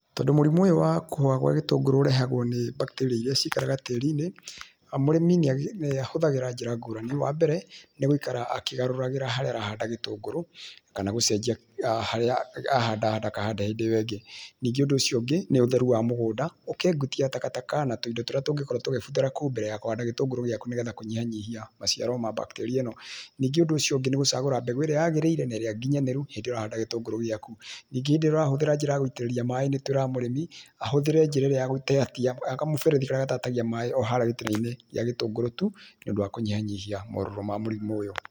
Tondũ mũrimũ ũyũ wa kũhoha kwa gĩtũngũrũ ũrehagwo nĩ bacteria iria cikaraga tĩĩri-inĩ, mũrĩmi nĩ ahũthagĩra njĩra ngũrani, wa mbere, nĩ gũikara akĩgarũragĩra harĩa arahanda gĩtũngũrũ, kana gũcenjia harĩa ahanda ndakahande hĩndĩ ĩo ĩngĩ. Ningĩ ũndũ ũcio ũngĩ nĩ ũtheru wa mũgũnda, ũkeengutia takataka na tũindo tũrĩa tũngĩkorũo tũkĩbuthĩra kũu mbere ya kũhanda gĩtũngũrũ gĩaku nĩ getha kũnyihianyihia maciaro ma bacteria ĩno. Ningĩ ũndũ ũcio ũngĩ nĩ gũcagũra mbegũ ĩrĩa yagĩrĩire na ĩrĩa nginyanĩru hĩndĩ ĩrĩa ũrahanda gĩtũngũrũ gĩaku. Ningĩ hĩndĩ ĩrĩa ũrahũthĩra njĩra ya gũitĩrĩria maĩ nĩ twĩraga mũrĩmi ahũthĩre njĩra ĩrĩa ya gũteatia ya kamũberethi karĩa gatatagia maĩ o harĩa gĩtina-inĩ kĩa gĩtũngũrũ tu, nĩ ũndũ wa kũnyihianyihia morũrũ ma mũrimũ ũyũ.